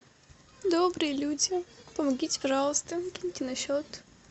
добрые люди помогите пожалуйста киньте на счет